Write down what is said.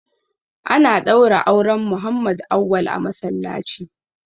Ana ɗaura auren Muhammad Auwal a masallaci.